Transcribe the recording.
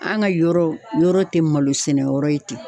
An ka yɔrɔ, yɔrɔ tɛ malo sɛnɛ yɔrɔ ye ten.